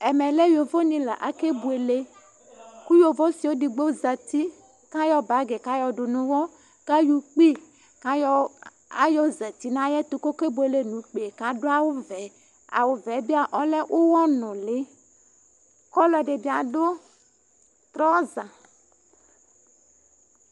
Ɛmɛ lɛ yoʋo ni la ake buele Ku yoʋo ɔsi eɖigbo zãti Ku ayɔ bagi ku ayɔ ɖu nu uɣɔ Ku ayɔ ukpi, ku ayɔ, ayɔ zãti nu ayɛtu, ku ɔke buele nu ukpi yɛ Ku aɖu awu ʋɛ Awu ʋɛ yɛ bi, olɛ uɣɔnuli Ku ɔlɔɖi bi aɖu trɔza